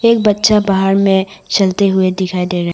एक बच्चा बाहर में चलते हुए दिखाई दे रहा--